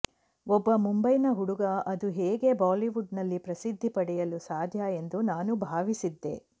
ಒಬ್ಬ ಮುಂಬೈನ ಹುಡುಗ ಅದು ಹೇಗೆ ಬಾಲಿವುಡ್ ನಲ್ಲಿ ಪ್ರಸಿದ್ಧಿ ಪಡೆಯಲು ಸಾಧ್ಯ ಎಂದು ನಾನು ಭಾವಿಸಿದ್ದೆ